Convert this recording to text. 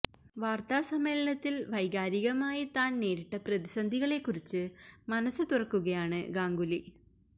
വാർത്ത സമ്മേള്ളനത്തിൽ വൈകാരികമായി താൻ നേരിട്ട പ്രതിസന്ധികളെ കുറിച്ച് മനസ് തുറക്കുകയാണ് ഗാംഗുലി